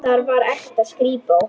Þar var ekta skrípó.